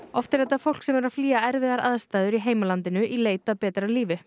oft er þetta fólk sem er að flýja erfiðar aðstæður í heimalandinu í leit að betra lífi